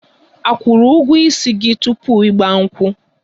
A kwụrụ ụgwọ ísì gị tupu 'Igba nkwu?